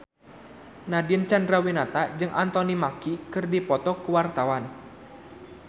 Nadine Chandrawinata jeung Anthony Mackie keur dipoto ku wartawan